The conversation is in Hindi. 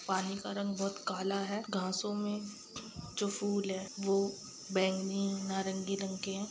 पानी का रंग बहुत काला है घासो में जो फूल है वो बैंगनी-नारंगी रंग के है।